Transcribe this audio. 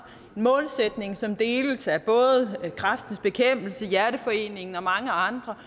en målsætning som deles af både kræftens bekæmpelse hjerteforeningen og mange andre